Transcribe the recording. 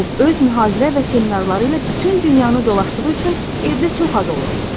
Bob öz mühazirə və seminarları ilə bütün dünyanı dolaşdığı üçün evdə çox az olurdu.